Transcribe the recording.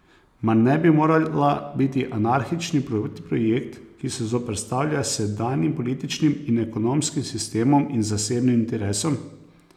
Mar ne bi morala biti anarhični protiprojekt, ki se zoperstavlja sedanjim političnim in ekonomskim sistemom in zasebnim interesom?